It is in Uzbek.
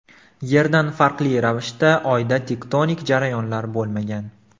Yerdan farqli ravishda Oyda tektonik jarayonlar bo‘lmagan.